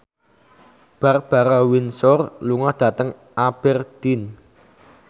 Barbara Windsor lunga dhateng Aberdeen